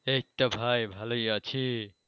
এই তো ভাই ভালোই আছি।